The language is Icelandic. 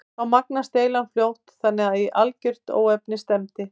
Þá magnaðist deilan fljótt þannig að í algert óefni stefndi.